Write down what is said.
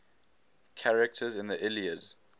characters in the iliad